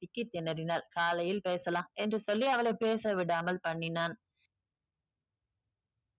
திக்கி திணறினாள். காலையில் பேசலாம் என்று சொல்லி அவளை பேச விடாமல் பண்ணினான்.